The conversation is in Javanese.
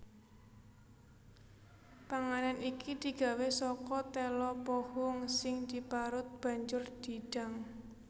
Panganan iki digawé saka téla pohung sing diparut banjur didang